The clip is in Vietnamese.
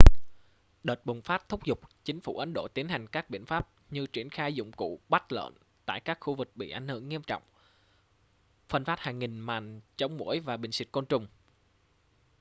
đợt bùng phát thúc giục chính phủ ấn độ tiến hành các biện pháp như triển khai dụng cụ bắt lợn tại các khu vực bị ảnh hưởng nghiêm trọng phân phát hàng nghìn màn chống muỗi và bình xịt côn trùng